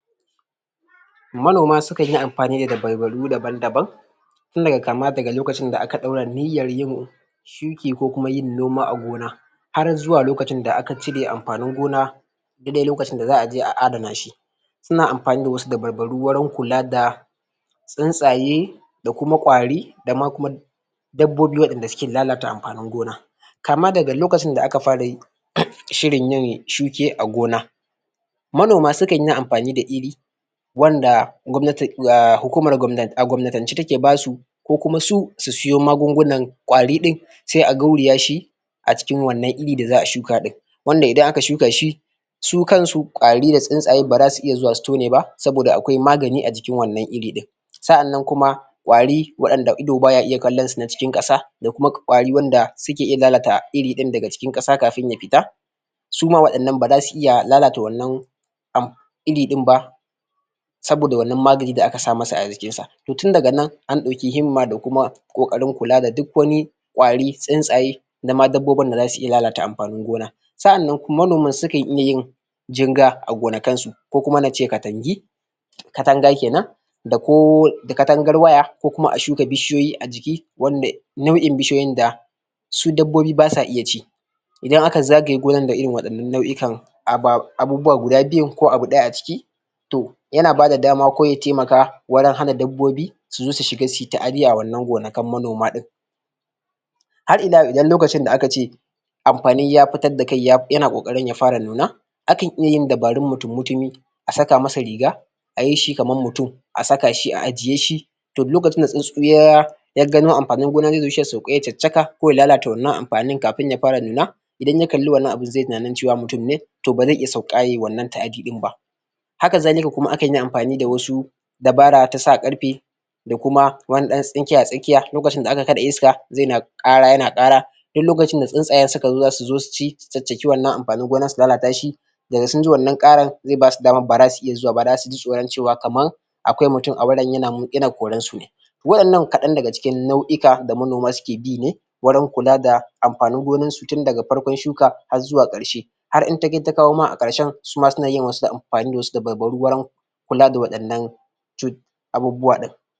manoma sukan yi amfani da dabbaru daban daban tunda kama daga lokacin da aka dora niyyan yin shuki ko kuma yin noma a gona har zuwa lokacin da aka cire amfanin gona daidai lokacin da zaa je a adana shi suna amfai da wasu dabbaru wurin kula da tsuntsaye da kuma kwari da ma dabbobi wadanda suke lalata amfanin gona kama daga lokacin da aka fara yi? shirin yin shuke a gona manoma sukanyi amfani da iri wanda gwamnati da hukumar gwam a gwamnatance take basu ko kuma su su siyo magungunan kwari din sai a gauraya shi a cikin wannan iri da zaa shuka wanda aka shuka shi su kansu kwari da tsuntsaye baza su iya zuwa su tone ba sabida akwai magani a jikin wannan iri din sa'anan kuma kwari wanda ido baya iya kallansu na cikin kasa da kuma kwari wanda suke iya lalata iri daga cikin kasa kafin ya fita su ma wadannan baza su iya lalata wannan am iri din ba saboda wannan maganin da aka sa masa ajikinsa to tun daga nan an dauki himma da kuma kokarin kula da duk wani kwari tsuntsaye na ma dabbobin da zasu iya lalata amfanin gonan sa'annan manoman sukan iya yin jinga a gona kansu ko kuma nace katangi katanga kenan da ko katangar waya ko kuma shuka bishiyoyi ajiki wanda nau'in bishiyoyin da da su dabbobi basa iya ci idan aka zagaye gonan da irin wadannan nau'ikan aba abubuwa guda biyun ko abu daya a ciki to yana bada dama ko ya taimaka wajen hana dabbobi su zo su shiga suyi ta'adi a wadannan gonakan manoma din har ila yau idan lokacin da akace amfani ya fitar da kai yana kokari ya fara nuna akan iya yin dabarun mutum mutumi a saka masa riga ayi shi kamar mutum a saka shi a ajiyeshi duk lokacin da tsuntsu ya ya gano amfanin gona shi zai sauko ya caccaka ko ya lalata wannan amfanin kafin ya fara nuna idan ya kalli wannan abun zai tunanin mutum ne to ba zai sauka ye wannan ta'adi din ba haka zalika akan iya amfani da wasu dabara ta sa karfe da kuma wani dan tsinke a tsakiya lokacin da aka kada iska yana kara yana kara duk lokacin da tsuntsaye suka zo suci su caccaki wannan amfanin gonan nan su lalata shi da sun ji wannna karan zai basu damar ba za su iya zuwa ba zasu ji tsoron cewa kamar akwai mutum a wurin yana koransu ne wadannan kadan daga cikin nau'ika da manoma suke bi ne wurin kula da amfanin gonarsu tun daga farkon shuka har xuwa karshe har in ta kai ta kawo karshen suma suna yi suna amfani da wasu dabbarun kula da wadannan cut abubbuwa din